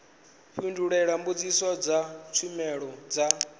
fhindule mbudziso dza tshumelo ya